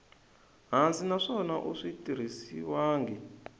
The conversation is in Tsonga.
hansi naswona a swi tirhisiwangi